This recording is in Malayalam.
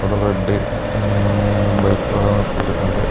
ഒരു റെഡ് ങ് ബൈക്ക് അവിടെ നിർത്തിയിട്ടുണ്ട്.